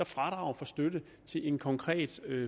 fradrag for støtte til en konkret